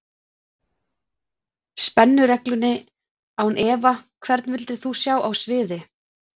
Spennu-reglunni án efa Hvern vildir þú sjá á sviði?